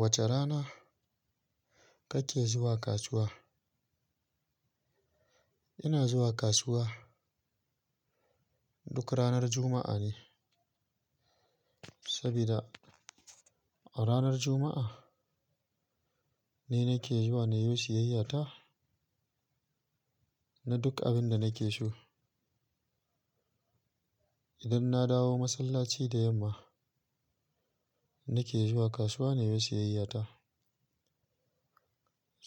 Wace rana kake zuwa kasuwa? Ina zuwa kasuwa duk ranar Juma'a ne, sabida a ranar Juma'a ne nake zuwa na yi siyayya ta na duk abin da nake so. Idan na dawo masallaci da yamma, nake zuwa kasuwa na yo siyayya ta.